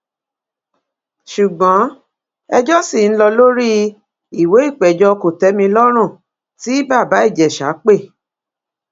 ṣùgbọn ẹjọ ṣì ń lọ lórí ìwé ìpéjọ kòtẹmilọrùn tí bàbá ìjẹsà pè